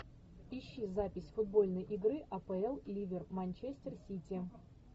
ищи запись футбольной игры апл ливер манчестер сити